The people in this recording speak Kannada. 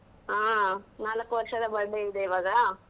ಹಾ ನಾಲಕ್ಕು ವರ್ಷದ birthday ಇದೆ ಇವಾಗ.